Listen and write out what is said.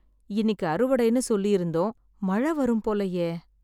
இன்னிக்கு அறுவடைன்னு சொல்லிருந்தோம், மழை வரும் போலயே!